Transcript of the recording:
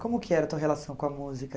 Como que era a tua relação com a música?